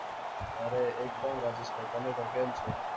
અરે એકદમ રાજેશ ભાઈ તમે કો કેમ છો?